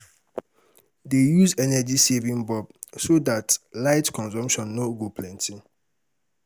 dey use energy saving bulb so dat light consumption no go plenty